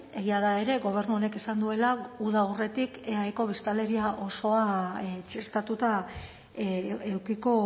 egia da ere gobernu honek esan duela uda aurretik eaeko biztanleria osoa txertatuta edukiko